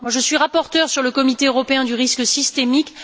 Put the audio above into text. Je suis rapporteure pour le comité européen du risque systémique.